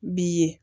B'i ye